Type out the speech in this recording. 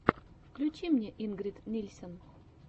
включи мне ингрид нильсен